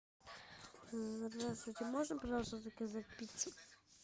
здравствуйте можно пожалуйста заказать пиццу